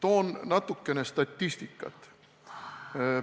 Toon natuke statistikat.